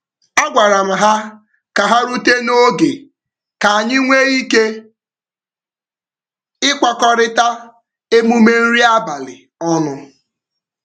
A gwara m ha ka ha rute n'oge ka anyị nwee ike ịkwakọrita emume nri abalị ọnụ.